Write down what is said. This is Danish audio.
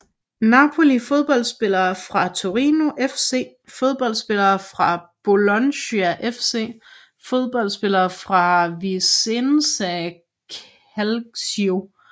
Napoli Fodboldspillere fra Torino FC Fodboldspillere fra Bologna FC Fodboldspillere fra Vicenza Calcio Deltagere ved verdensmesterskabet i fodbold 1978